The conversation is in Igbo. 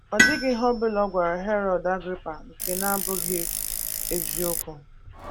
Ọ dịghị ihe ọ ọbụla ọ gwara Herọd Agrịpa nke na - abụghị eziokwu